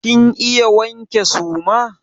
Kin iya wanke suma?